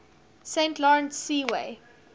saint lawrence seaway